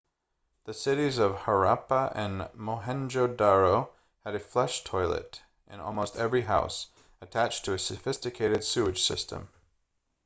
the cities of harappa and mohenjo-daro had a flush toilet in almost every house attached to a sophisticated sewage system